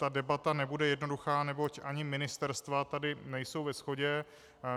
Ta debata nebude jednoduchá, neboť ani ministerstva tady nejsou ve shodě.